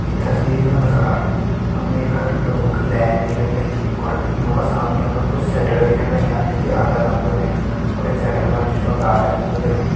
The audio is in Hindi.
ईं तस्वीर का अनुसार हमे यखा लोगों की लैन दिखेण लगीं और यूं का सामने हमे कुछ शटर दिखेण लग्यां जोकि आधा बंद होयां ये शटर पर जु छ लाल रंग करयुं।